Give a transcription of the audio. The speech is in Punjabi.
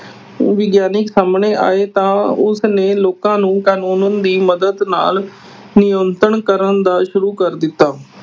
ਵਿਗਿਆਨੀ ਸਾਹਮਏ ਆਏ ਤਾਂ ਉਸਨੇ ਲੋਕਾਂ ਨੂੰ ਕਾਨੂੰਨ ਦੀ ਮਦਦ ਨਾਲ ਨਿਯੰਤਰਣ ਕਰਨ ਦਾ, ਸ਼ੁਰੂ ਕਰ ਦਿੱਤਾ।